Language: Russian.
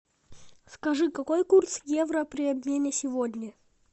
скажи какой курс евро при обмене сегодня